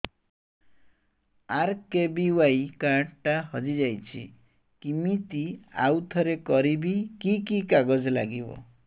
RKBY card ଟା ହଜିଯାଇଛି କିମିତି ଆଉଥରେ କରିବି କି କି କାଗଜ ଲାଗିବ